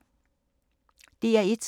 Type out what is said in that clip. DR1